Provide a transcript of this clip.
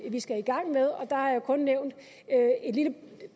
vi skal i gang med og der har jeg kun nævnt et lille